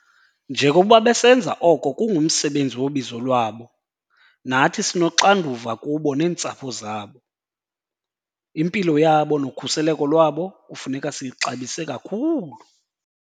Njengokuba besenza oko kungumsebenzi wobizo lwabo, nathi sinoxanduva kubo neentsapho zabo. Impilo yabo nokhuseleko lwabo kufuneka siyixabise kakhulu.